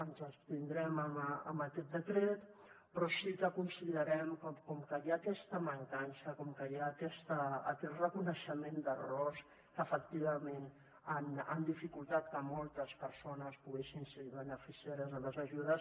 ens abstindrem en aquest decret però sí que considerem que com que hi ha aquesta mancança com que hi ha aquest reconeixement d’errors que efectivament han dificultat que moltes persones poguessin ser beneficiàries de les ajudes